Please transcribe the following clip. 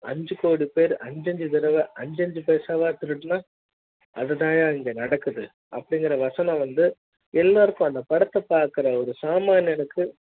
ஐந்து கோடி பேரு அஞ்சு அஞ்சு தடவ அஞ்சு அஞ்சு பைசா வா திருடினா அதாயா இங்க நடக்குது அப்படிங்கற வசனம் வந்து எல்லாருக்கும் அந்த படத்த பாக்குற ஒரு சாமானியனுக்கு